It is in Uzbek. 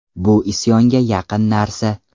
Bu isyonga yaqin narsa.